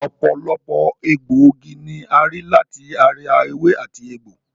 Ọ̀pọ̀lọpọ̀ egbòogi ni a rí láti ara ewé àti egbò